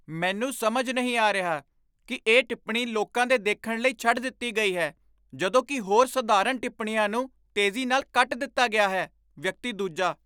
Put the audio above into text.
ਮੈਨੂੰ ਸਮਝ ਨਹੀਂ ਆ ਰਿਹਾ ਕੀ ਇਹ ਟਿੱਪਣੀ ਲੋਕਾਂ ਦੇ ਦੇਖਣ ਲਈ ਛੱਡ ਦਿੱਤੀ ਗਈ ਹੈ ਜਦੋਂ ਕੀ ਹੋਰ ਸਧਾਰਨ ਟਿੱਪਣੀਆਂ ਨੂੰ ਤੇਜ਼ੀ ਨਾਲ ਕੱਟ ਦਿੱਤਾ ਗਿਆ ਹੈ ਵਿਅਕਤੀ ਦੂਜਾ